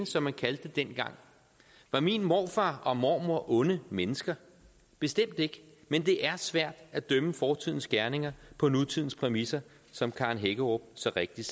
som man kaldte det dengang var min morfar og mormor onde mennesker bestemt ikke men det er svært at dømme fortidens gerninger på nutidens præmisser som karen hækkerup så rigtigt